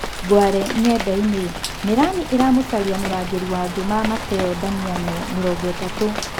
(Ngware Ng'endainĩ) Mĩrani ĩramucaria mũrangiri wa Ngĩma Mateo Ndamiano, mĩrongoĩtatu.